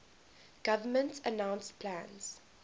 government announced plans